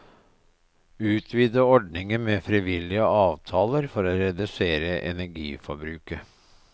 Utvide ordningen med frivillige avtaler for å redusere energiforbruket.